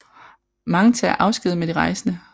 Mange tager afsked med de rejsende